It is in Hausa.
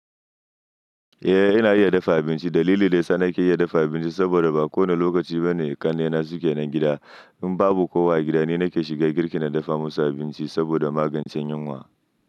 Eh ina iya dafa abinci. Dalili da yasa na ke iya dafa abinci saboda ba kowane lokaci bane ƙannena suke nan gida. In babu kowa agida ni nake shiga girki na dafa musu abinci saboda magance yunwa.